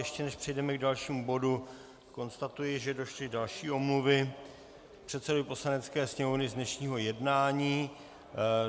Ještě než přejdeme k dalšímu bodu, konstatuji, že došly další omluvy předsedovi Poslanecké sněmovny z dnešního jednání.